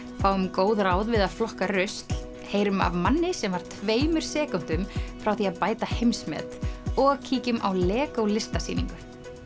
fáum góð ráð við að flokka rusl heyrum af manni sem var tveimur sekúndum frá því að bæta heimsmet og kíkjum á Lego listasýningu